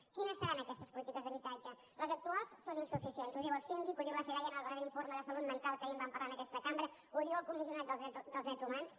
quines seran aquestes polítiques d’habitatge les actuals són insuficients ho diu el síndic ho diu la fedaia en el darrer informe de salut mental que ahir en vam parlar en aquesta cambra ho diu el comissionat dels drets humans